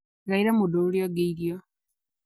Gaera mũndũ ũrĩa ungi irio